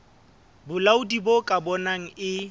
bolaodi bo ka bonang e